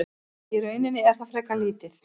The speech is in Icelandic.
Í rauninni er það frekar lítið.